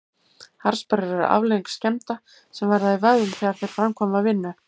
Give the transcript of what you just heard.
Harðsperrur eru afleiðing skemmda sem verða í vöðvum þegar þeir framkvæma vinnu.